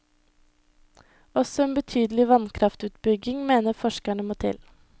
Også en betydelig vannkraftutbygging mener forskerne må til.